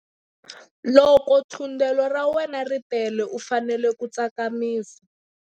Loko thundelo ra wena ri tele u fanele ku tsakamisa.